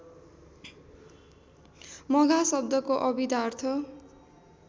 मघा शब्दको अभिधार्थ